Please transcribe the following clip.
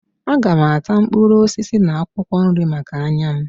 Aga m ata mkpụrụ osisi na akwụkwọ nri maka anya m